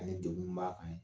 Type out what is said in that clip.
Ani degun min b'a kan ye